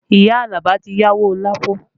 Iya Alaba ti yáwó Lapo